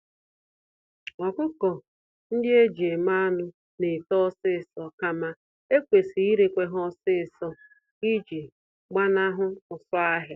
Ọkụkọ-ndị-eji-eme-anụ N'eto ọsịsọ, kama ekwesịrị irekwa ha ọsịsọ iji gbanahụ ụsụ-ahịa.